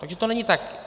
Takže to není tak.